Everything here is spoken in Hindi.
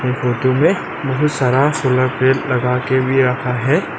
ये फोटो में बहुत सारा सोलर प्लेट लगा के भी रखा है।